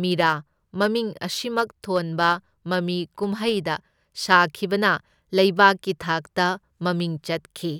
ꯃꯤꯔꯥ ꯃꯃꯤꯡ ꯑꯁꯤꯃꯛ ꯊꯣꯟꯕ ꯃꯃꯤꯀꯨꯝꯍꯩꯗ ꯁꯥꯈꯤꯕꯅ ꯂꯩꯕꯥꯛꯀꯤ ꯊꯥꯛꯇ ꯃꯃꯤꯡ ꯆꯠꯈꯤ꯫